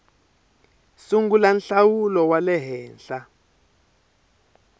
sungula nhlawulo wa le henhla